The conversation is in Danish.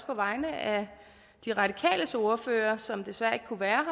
på vegne af de radikales ordfører som desværre ikke kunne være